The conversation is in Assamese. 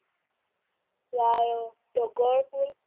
এই তগৰ ফুল